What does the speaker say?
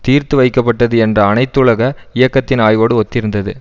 தீர்த்து வைக்கப்பட்டது என்ற அனைத்துலக இயக்கத்தின் ஆய்வோடு ஒத்திருந்தது